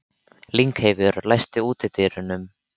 Lyngheiður, læstu útidyrunum.